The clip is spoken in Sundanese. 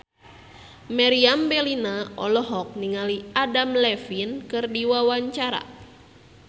Meriam Bellina olohok ningali Adam Levine keur diwawancara